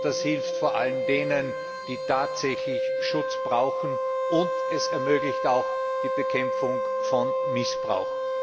Das hilft vor allem denen, die tatsächlich Schutz brauchen, und es ermöglicht auch die Bekämpfung von Missbrauch.